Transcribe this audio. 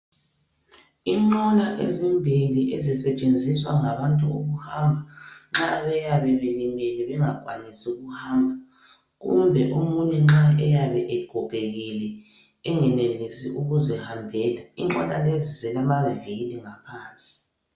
Inqola ezimbili ezisetshenziswa ngabantu ukuhamba, nxa beyabe belimele bengakwanisi ukuhamba kumbe omunye nxa eyabe egogekile engenelisi ukuzihambela. Inqola lezi zilamaviri ngaphansi.